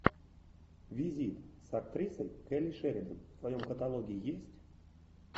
визит с актрисой келли шеридан в твоем каталоге есть